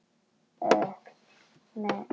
Látinna ástvina minnst.